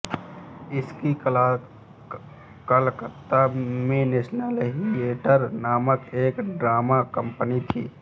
उनकी कलकत्ता में national theatre नामक एक ड्रामा कंपनी थी